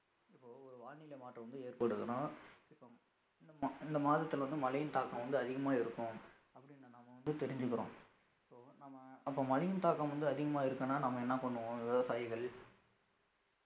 இப்போ ஒரு வானிலை மாற்றம் வந்து ஏற்படுதுன்னா இப்போ இந்த மா~ இந்த மாதத்துல வந்து மழையின் தாக்கம் வந்து அதிகமா இருக்கும் அப்படினு நாம வந்து தெரிஞ்சுக்கறோம் so நம்ம அப்ப மழையின் தாக்கம் வந்து அதிகமா இருக்குன்னா நம்ம என்ன பண்ணுவோம் விவசாயிகள்